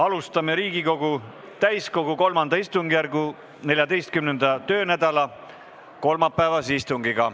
Alustame Riigikogu täiskogu III istungjärgu 14. töönädala kolmapäevast istungit.